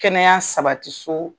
Kɛnɛya sabati soo